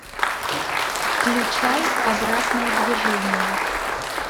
включай обратное движение